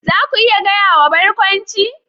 Za ku iya gaya wa Barkwanci?